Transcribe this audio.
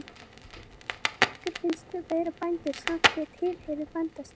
Þóra: En ykkur finnst þið vera bændur samt, þið tilheyrði bændastétt?